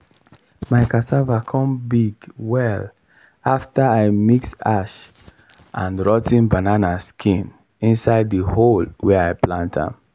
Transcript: my cassava come big well after i mix ash and rot ten banana skin inside the hole wey i plant am.